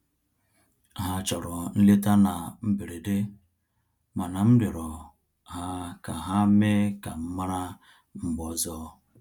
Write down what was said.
Ha chọrọ nleta na mberede, mana m rịọrọ ha ka ha mee ka m mara mgbe ọzọ